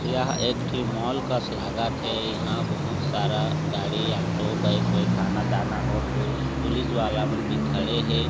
यहा एक ठीक मॉल कास लागत है इहा बोहोत सारा गाड़ी ऑटो बाइ वाइक आना जाना होत हे पुलिस वाला मन भी खडे हे।